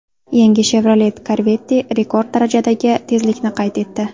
Yangi Chevrolet Corvette rekord darajadagi tezlikni qayd etdi.